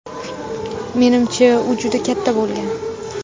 Menimcha u juda katta bo‘lgan”.